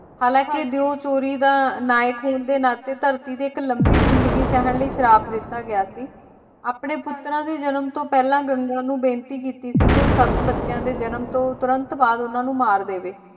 ਹਾਲਾਂਕਿ ਦੇਉ ਚੋਰੀ ਦਾ ਨਾਇਕ ਹੋਣ ਦੇ ਨਾਤੇ ਧਰਤੀ ਤੇ ਇੱਕ ਲੰਬੀ ਜ਼ਿੰਦਗੀ ਸਹਿਣ ਲਈ ਸ਼ਰਾਪ ਦਿੱਤਾ ਗਿਆ ਸੀ, ਆਪਣੇ ਪੁੱਤਰਾਂ ਦੇ ਜਨਮ ਤੋਂ ਪਹਿਲਾਂ, ਗੰਗਾ ਨੂੰ ਬੇਨਤੀ ਕੀਤੀ ਕੀ ਉਹ ਸੱਤ ਬੱਚਿਆਂ ਦੇ ਜਨਮ ਤੋਂ ਤੁਰੰਤ ਬਾਅਦ ਉਹਨਾਂ ਨੂੰ ਮਾਰ ਦੇਵੇ।